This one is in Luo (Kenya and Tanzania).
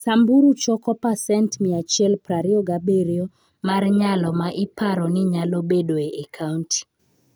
Samburu choko pasent 127 mar nyalo ma iparo ni nyalo bedoe e kaunti.